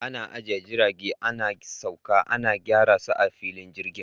Ana ajiye jirage, ana sauka, ana gyara su a filin jirgin.